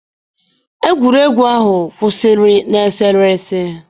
Egwuregwu ahụ kwụsịrị na eserese